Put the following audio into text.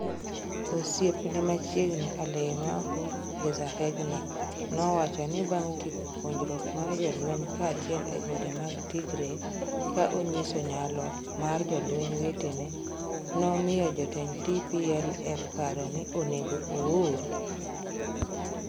Osiepne machiegni, Alemayehu Gezahegna, nowacho ni bang’ tieko puonjruok mar jolweny kanyachiel e gode mag Tigray, ka onyiso nyalo mar jolweny wetene, nomiyo jotend TPLF paro ni onego oor.